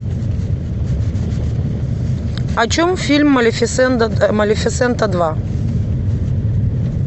о чем фильм малефисента два